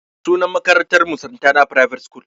Sunan makarantar mu "Santana private school"